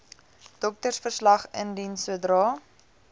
doktersverslag indien sodra